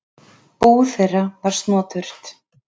Bú þeirra var snoturt.